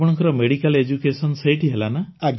ଆପଣଙ୍କର medical education ସେଇଠି ହେଲା